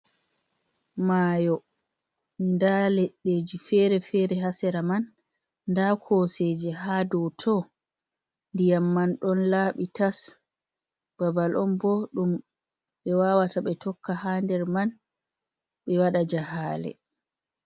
Mayo da leddeji fere fere hasera man da koseje ha do to diyam man don labi tas, babal on bo dum be wawata be tokka ha nder man be wada jahale.